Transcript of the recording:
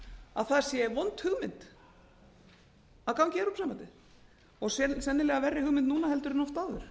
að það sé vond hugmynd að ganga í evrópusambandið og sennilega verri hugmynd núna en oft áður